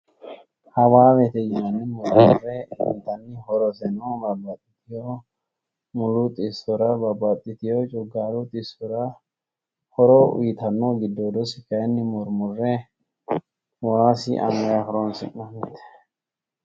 Hawaawete yinanni murre intanni horoseno babbaxxiteyo mulu xissora babbaxxiteyo coggaaru xissora horo uyiitanno giddoodosi kayinni murmurre waasi angayi horoonsi'nannnite.